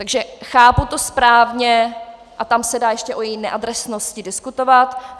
Takže chápu to správně - a tam se dá ještě o její neadresnosti diskutovat.